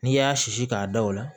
N'i y'a sisi k'a da o la